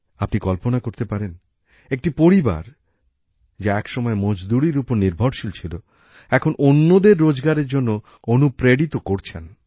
আপনি কল্পনা করতে পারেন একটি পরিবার যা এক সময় মজদুরীর উপর নির্ভরশীল ছিল এখন অন্যদের রোজগারের জন্য অনুপ্রেরিত করছেন